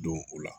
Don o la